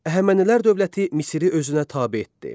Əhəmənilər dövləti Misiri özünə tabe etdi.